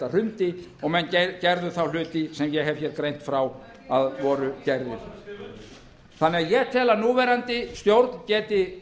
hrundi og menn gerðu þá hluti sem ég hef greint frá að voru gerðir þannig að ég tel að núverandi stjórn geti